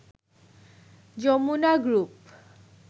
Jamuna group